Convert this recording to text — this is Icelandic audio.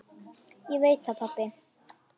Var það strax ungur.